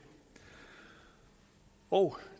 og